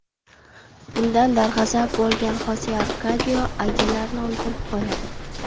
Bundan darg‘azab bo‘lgan Xose Arkadio Agilarni o‘ldirib qo‘yadi.